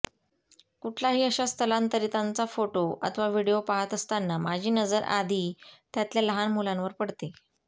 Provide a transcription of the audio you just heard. कुठलाही अशा स्थलांतरितांचा फोटो अथवा व्हिडीओ पाहत असताना माझी नजर आधी त्यातल्या लहान मुलांवर पडते